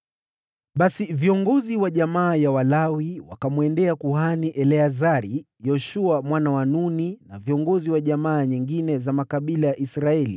Basi viongozi wa jamaa ya Walawi, wakamwendea kuhani Eleazari, Yoshua mwana wa Nuni, na viongozi wa jamaa nyingine za makabila ya Israeli